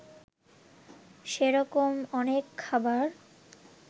সেরকম অনেক খাবার